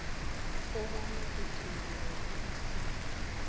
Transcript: kobana uthunyelelwe esinye